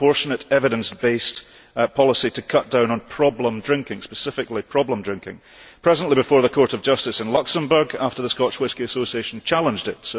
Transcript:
It is a proportionate, evidence based policy to cut down on problem drinking specifically problem drinking presently before the Court of Justice in Luxembourg after the Scotch Whisky Association challenged it.